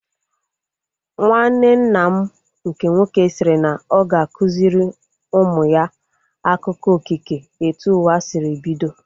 Nwanne nna m nke nwoke sịrị na ọ ga-akụziri ụmụ ya akụkọ okike etu ụwa sịrị bido